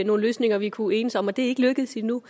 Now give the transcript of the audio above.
nogle løsninger vi kunne enes om det er ikke lykkedes endnu